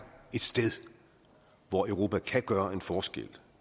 ét sted hvor europa kan gøre en forskel